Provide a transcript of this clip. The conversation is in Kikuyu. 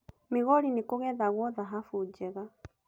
Migori nĩ kũgethagwo thahabu njega.